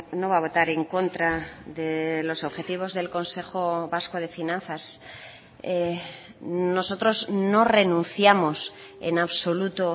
no va a votar en contra de los objetivos del consejo vasco de finanzas nosotros no renunciamos en absoluto